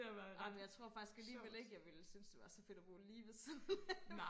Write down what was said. amen jeg tror faktisk alligevel ikke jeg ville synes det var så fedt at bo lige ved siden af